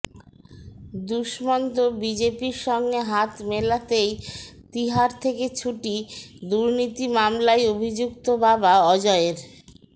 দুষ্মন্ত বিজেপির সঙ্গে হাত মেলাতেই তিহার থেকে ছুটি দুর্নীতি মামলায় অভিযুক্ত বাবা অজয়ের